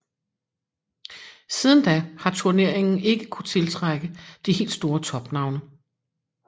Siden da har turneringen ikke kunnet tiltrække de helt store topnavne